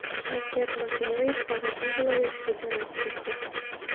Shavkat Mirziyoyev Xorazm viloyatiga jo‘nab ketdi.